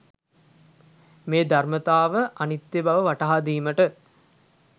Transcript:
මේ ධර්මතාව අනිත්‍ය බව වටහා දීමට